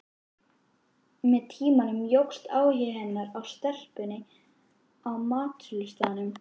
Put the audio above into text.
Með tímanum jókst áhugi hennar á stelpunni á matsölustaðnum.